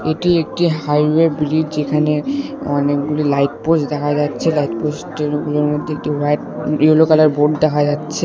এটি একটি highway bridge যেখানে অনেকগুলি লাইট পোস্ট দেখা যাচ্ছে লাইট পোস্টের ওগুলোর মধ্যে হোয়াইট ইয়েলো কালার বোর্ড দেখা যাচ্ছে।